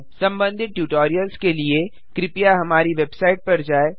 संबंधित ट्यूटोरियल्स के लिए कृपया हमारी वेबसाइट पर जाएँ